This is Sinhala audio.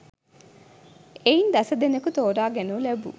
එයින් දස දෙනෙකු තෝරාගනු ලැබූ